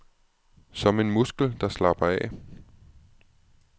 Som en muskel, der slapper af.